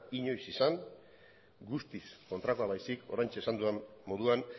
inoiz izan guztiz kontrakoa baizik oraintxe esan dudan moduan